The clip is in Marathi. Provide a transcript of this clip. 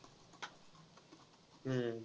हम्म